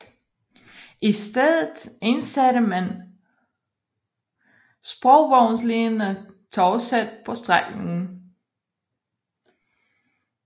I stedet indsatte man sporvognslignende togsæt på strækningen